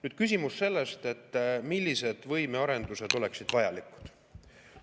Nüüd, küsimus sellest, millised võimearendused oleksid vajalikud.